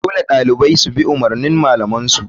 Dole ɗalibai dubi umurnin malaman su..